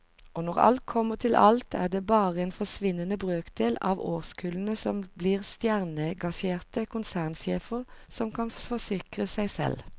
Og når alt kommer til alt er det bare en forsvinnende brøkdel av årskullene som blir stjernegasjerte konsernsjefer som kan forsikre seg selv.